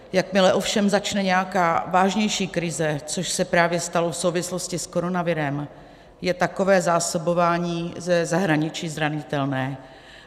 Jakmile ovšem začne nějaká vážnější krize, což se právě stalo v souvislosti s koronavirem, je takové zásobování ze zahraničí zranitelné.